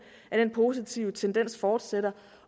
at den positive tendens fortsætter